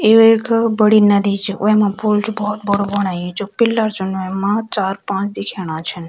यु एक बड़ी नदी च वैमा पुल च बहौत बड़ू बणायूं च पिलर चन वैमा चार-पांच दिखेणा छन।